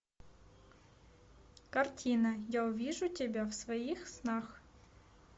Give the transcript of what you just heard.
картина я увижу тебя в своих снах